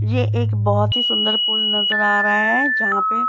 ये एक बहोत ही सुंदर पुल नजर आ रहा है जहाँ पे --